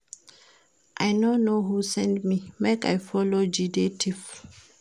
I no know who send me make I go follow Jide thief